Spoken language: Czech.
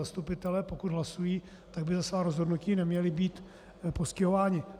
Zastupitelé, pokud hlasují, tak by za svá rozhodnutí neměli být postihováni.